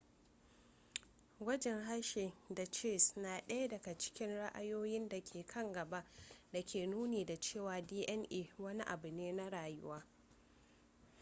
gwajin hershey da chase na ɗaya daga cikin ra'ayoyin da ke kan gaba da ke nuni da cewa dna wani abu ne na rayuwa